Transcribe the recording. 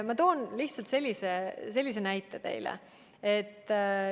Ma toon lihtsalt sellise näite teile.